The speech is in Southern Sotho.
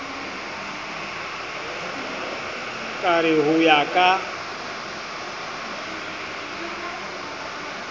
ka re ho ya ka